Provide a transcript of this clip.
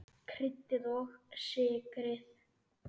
Kryddið og sykrið.